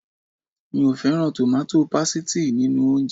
Mi ò fẹ́ràn tòmátò pasìtì nínú oúnjẹ